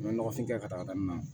N bɛ nɔgɔfin kɛ ka taga n na